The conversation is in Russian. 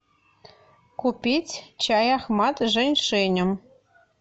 купить чай ахмат с жень шенем